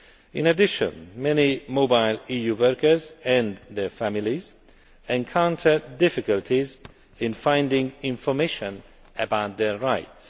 In addition, many mobile EU workers and their families encounter difficulties in finding information about their rights.